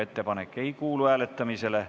Ettepanek ei kuulu hääletamisele.